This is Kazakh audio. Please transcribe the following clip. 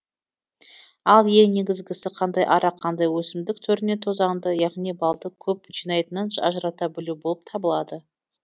ал ең негізгісі қандай ара қандай өсімдік түрінен тозаңды яғни балды көп жинайтынын ажырата білу болып табылады